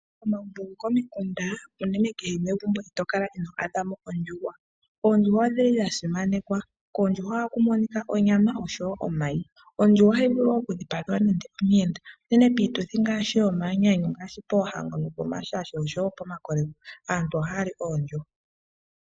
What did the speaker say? Komagumbo komikunda unene kehe megumbo ito kala ino adhamo oondjuhwa. Oondjuhwa odhili dha simanekwa koondjuhwa ohaku monika onyama oshowo omayi. Ondjuhwa ohayi vulu oku dhipagelwa omuyenda nande unene piituthi ngaashi yomanyanyu ngaashi poohango, pomashasho nopomakoleko aantu ohaya li oondjuhwa.